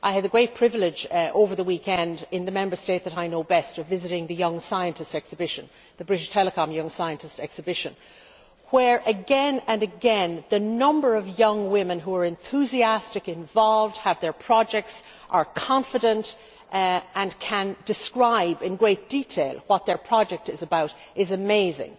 I had a great privilege over the weekend in the Member State that I know best of visiting the BT Young Scientist Technology Exhibition, where again and again the number of young women who are enthusiastic, involved, have their projects, are confident and can describe in great detail what their project is about is amazing.